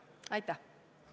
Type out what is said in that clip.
Aitäh!